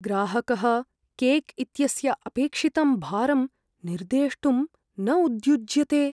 ग्राहकः केक् इत्यस्य अपेक्षितं भारम् निर्देष्टुं न उद्युज्यते।